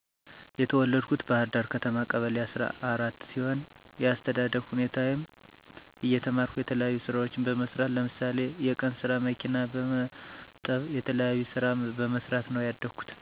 የተወለድኩት ባህርዳር ከተማ ቀበሌ አሰራ አራት ሲሆን የአስተዳደግ ሁኔታየም እየተማረኩ የተለያዩ ስራዎችን በመስራት ለምሳሌ የቀንስራ፣ መኪና በመጠብ የተለያዩ ስራ በመሰራት ነው ያደኩት።